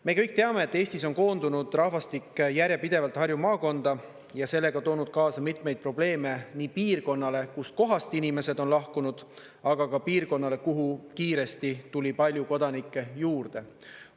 Me kõik teame, et Eestis on koondunud rahvastik järjepidevalt Harju maakonda ja sellega toonud kaasa mitmeid probleeme nii piirkonnale, kustkohast inimesed on lahkunud, aga ka piirkonnale, kuhu kiiresti tuli palju kodanikke juurde.